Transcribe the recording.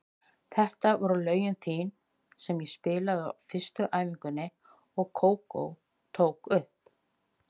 Þetta eru lögin þín sem þú spilaðir á fyrstu æfingunni og Kókó tók upp.